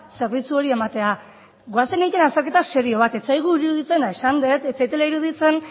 zerbitzu hori ematea goazen egitera azterketa serio bat ez zaigu iruditzen eta esan dut ez zaidala iruditzen